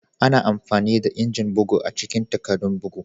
Ana amfani da injin bugu a cikin takaddun bugu.